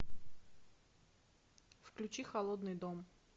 включи холодный дом